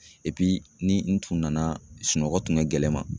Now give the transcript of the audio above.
ni n tun nana, sunɔgɔ kun ka gɛlɛn ma